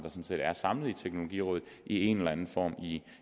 der er samlet i teknologirådet i en eller anden form